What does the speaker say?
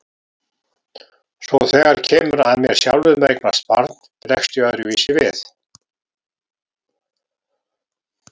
Svo þegar kemur að mér sjálfum að eignast barn bregst ég öðruvísi við.